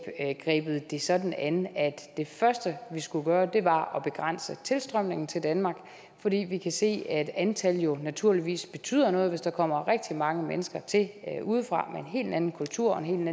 grebet det sådan an at det første vi skulle gøre var at begrænse tilstrømningen til danmark fordi vi kan se at antal jo naturligvis betyder noget hvis der kommer rigtig mange mennesker til udefra med en helt anden kultur og en